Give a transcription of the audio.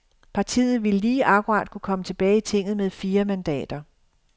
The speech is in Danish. Partiet ville lige akkurat kunne komme tilbage i tinget med fire mandater.